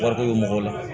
Wariko mɔgɔw la